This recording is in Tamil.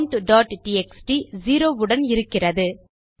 ஆம் countடிஎக்ஸ்டி செரோ உடன் இருக்கிறது